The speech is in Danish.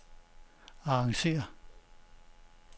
arrangér